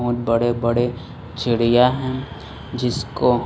बहुत बड़े बड़े चिड़िया हैं जिसको--